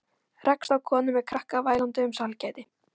Rekst á konu með krakka vælandi um sælgæti.